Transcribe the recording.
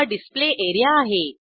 हा display area आहे